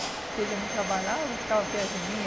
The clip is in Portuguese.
Que ele não trabalhava e ficava perto de mim.